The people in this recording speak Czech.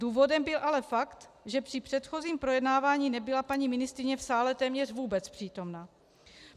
Důvodem byl ale fakt, že při předchozím projednávání nebyla paní ministryně v sále téměř vůbec přítomna.